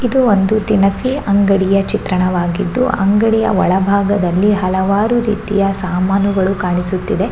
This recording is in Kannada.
ಇದು ಒಂದು ದಿನಸಿ ಅಂಗಡಿಯ ಚಿತ್ರಣವಾಗಿದ್ದು ಆ ಅಂಗಡಿಯ ಒಳಬಾಗದಲ್ಲಿ ಹಲವಾರು ರೀತಿಯ ಸಾಮಾನುಗಳು ಕಾಣಿಸುತ್ತಿದೆ.